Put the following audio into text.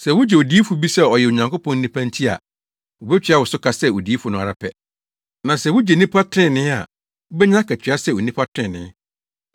Sɛ wugye odiyifo bi sɛ ɔyɛ Onyankopɔn nipa nti a, wobetua wo so ka sɛ odiyifo no ara pɛ. Na sɛ wugye nnipa trenee a, wubenya akatua sɛ onipa trenee.